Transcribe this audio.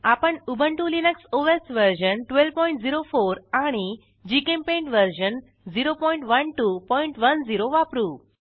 आपण Ubuntu Linux OS version 1204 आणि GChemPaint version 01210 वापरू